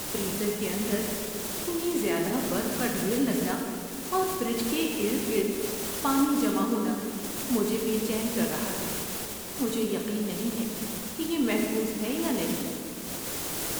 Freezer کے اندر اتنی زیادہ برف کا ڈھیر لگنا اور فریج کے ارد گرد پانی جمع ہونا مجھے بے چین کر رہا ہے؛ مجھے یقین نہیں ہے کہ یہ محفوظ ہے یا نہیں۔